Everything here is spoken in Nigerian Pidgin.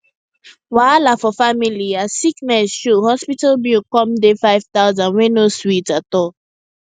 wahala for family as sickness show hospital bill come dey five thousand wey no sweet at all